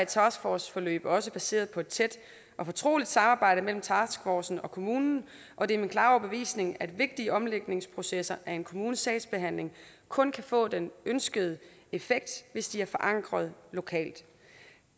taskforceforløb også baseret på et tæt og fortroligt samarbejde mellem taskforcen og kommunen og det er min klare overbevisning at vigtige omlægningsprocesser af en kommunes sagsbehandling kun kan få den ønskede effekt hvis de er forankrede lokalt